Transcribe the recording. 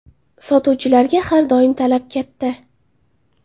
Sotuvchilarga har doim talab katta.